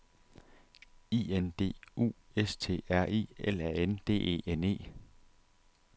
I N D U S T R I L A N D E N E